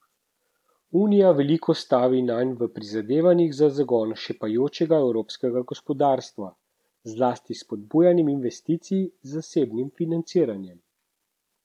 Unija veliko stavi nanj v prizadevanjih za zagon šepajočega evropskega gospodarstva, zlasti s spodbujanjem investicij z zasebnim financiranjem.